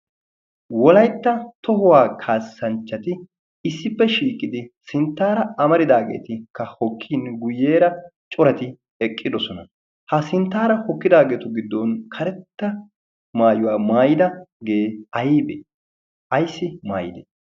Wolaytta tohuwaa kaassanchchati issippe shiiqidi sinttara amaridaageetikka hokkin guyyeera corati eqqidoosona. ha sinttara hokkidaageetu giddon karetta maayuwa maayyidaagee aybbe? aybbissi maayyide?